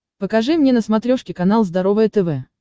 покажи мне на смотрешке канал здоровое тв